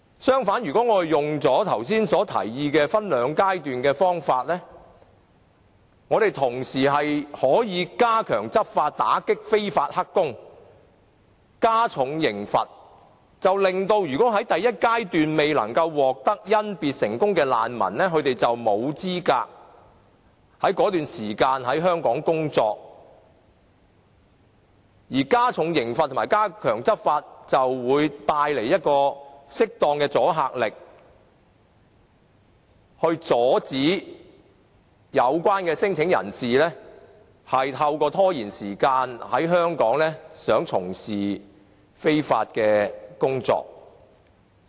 相反，如果用剛才所提議分兩階段的方法，我們可以同時加強執法、打擊非法"黑工"、加重刑罰，令到在第一階段未能夠獲得甄別成功的難民在那段時間沒有資格在香港工作；而加重刑罰及加強執法就會帶來適當的阻嚇力，阻止有關的聲請人士想透過拖延時間在香港從事非法工作。